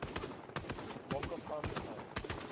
makapanstad